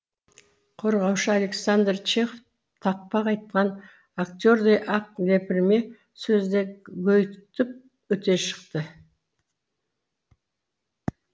қорғаушы александр чехов тақпақ айтқан актердей ақ лепірме сөзді гөйітіп өте шықты